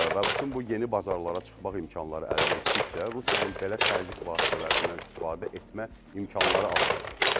Və bütün bu yeni bazarlara çıxmaq imkanları əldə etdikcə Rusiyanın belə təzyiq vasitələrindən istifadə etmə imkanları azalacaq.